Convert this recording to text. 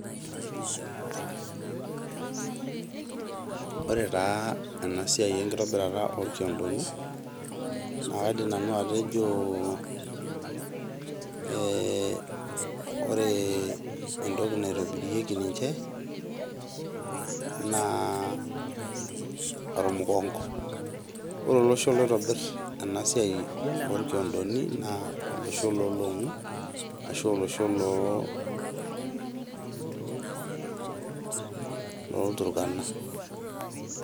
Ore taa ena siai enkitobirata orkiodoni naa kaidim nanu atejo ore entoki naitobirieki ninche naa ormukongo. Ore olosho loitobir ena siai orkiodoni naa olosho lolongu arashu olosho loo loorturkana.